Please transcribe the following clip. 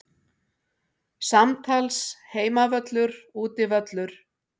Samtals Heimavöllur Útivöllur